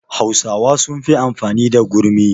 Hausawa sun fi amfani da gurmi